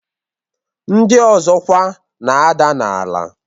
Ndị ọzọ kwa na-ada n'ala.